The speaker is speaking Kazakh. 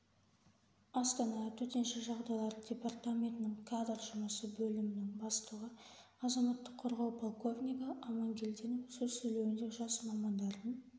астана төтенше жағдайлар департаментінің кадр жұмысы бөлімінің бастығы азаматтық қорғау полковнигі амангельдинов сөз сөйлеуінде жас мамандардың